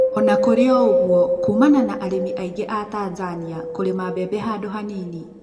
ona kũrĩ oguo kumana na arĩmi aingĩ a tanzania kũrĩma bebe handũ hanini